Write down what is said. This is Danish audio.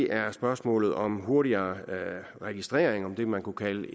er spørgsmålet om hurtigere registrering det man kunne kalde